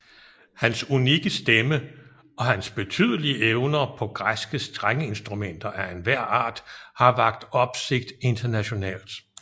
Han unikke stemme og hans betydelige evner på græske strengeinstrumenter af enhver art har vakt opsigt internationalt